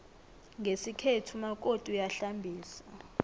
ngesikhethu umakoti uyahlambisa